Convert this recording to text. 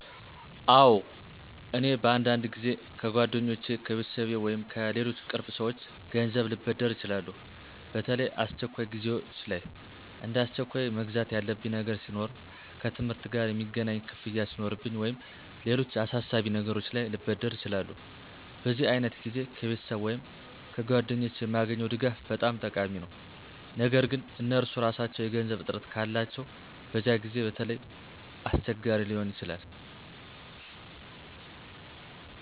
አዎን፣ እኔ በአንዳንድ ጊዜ ከጓደኞቼ፣ ከቤተሰቤ ወይም ከሌሎች ቅርብ ሰዎች ገንዘብ ልበድር እችላለሁ። በተለይ አስቸኳይ ጊዜዎች ላይ፣ እንደ አስቸኳይ መግዛት ያለብኝ ነገር ሲኖር፣ ከትምህርት ጋ የሚገናኝ ክፍያ ሱኖርብኝ ወይም ሌሎች አሳሳቢ ነገሮች ላይ ልበደር እችላለሁ። በዚህ ዓይነት ጊዜ ከቤተሰብ ወይም ከጓደኞቼ የማገኘው ድጋፍ በጣም ጠቃሚ ነው። ነገር ግን እነርሱ ራሳቸው የገንዘብ እጥረት ካላቸው በዚያ ጊዜ በተለይ አስቸጋሪ ሊሆን ይችላል።